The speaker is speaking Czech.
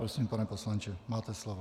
Prosím, pane poslanče, máte slovo.